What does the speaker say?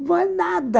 Não é nada.